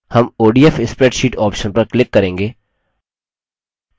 हम odf spreadsheet option पर click करेंगे